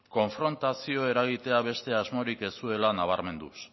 konfrontazioa eragitea beste asmorik ez zuela nabarmenduz